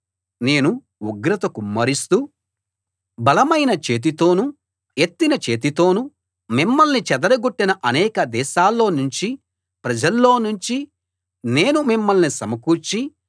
నేను ఉగ్రత కుమ్మరిస్తూ బలమైన చేతితోనూ ఎత్తిన చేతితోనూ మిమ్మల్ని చెదరగొట్టిన అనేక దేశాల్లోనుంచ ప్రజల్లోనుంచి నేను మిమ్మల్ని సమకూర్చి